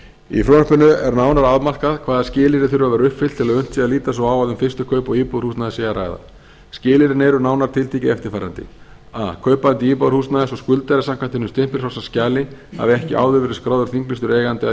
í frumvarpinu er nánar afmarkað hvaða skilyrði þurfi að vera uppfyllt til að unnt sé að líta svo á að um fyrstu kaup á íbúðarhúsnæði sé að ræða skilyrðin eru nánar tiltekið eftirfarandi a kaupandi íbúðarhúsnæðis og skuldari samkvæmt hinu stimpilfrjálsa skjali hafi ekki áður verið skráður þinglýstur eigandi að